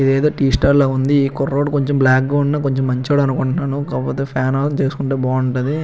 ఇదేదో tea stall లో ఉంది ఈ కుర్రోడు కొంచెం బ్లాక్ గా ఉన్నా కొంచెం మంచోడు అనుకుంటున్నాను కాకపోతే ఫ్యాన్ ఆఫ్ చేసుకుంటే బాగుంటది.